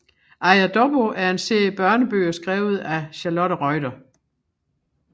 Aja Dobbo er en serie børnebøger skrevet af Charlotte Reuter